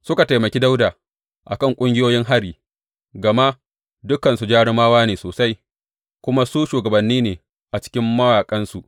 Suka taimaki Dawuda a kan ƙungiyoyin hari, gama dukansu jarumawa ne sosai, kuma su shugabanni ne a cikin mayaƙansa.